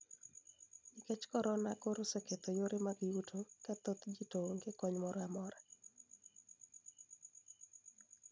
Nikech korona koro oseketho yore mag yuto ka thoth ji to onge kony moro amora